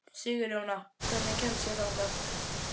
Sigurjóna, hvernig kemst ég þangað?